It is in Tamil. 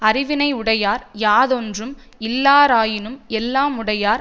அறிவினை யுடையார் யாதொன்றும் இல்லாராயினும் எல்லாமுடையர்